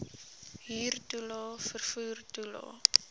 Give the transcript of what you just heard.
huurtoelae vervoer toelae